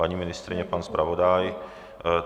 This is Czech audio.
Paní ministryně, pan zpravodaj?